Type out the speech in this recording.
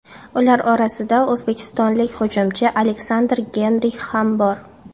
Ular orasida o‘zbekistonlik hujumchi Aleksandr Geynrix ham bor.